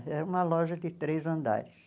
Era uma loja de três andares.